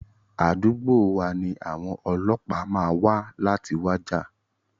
Àdúgbò wa ni àwọn ọlọ́pàá máa wa láti wá jà.